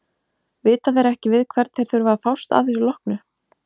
Vita þeir ekki við hvern þeir þurfa að fást að þessu loknu?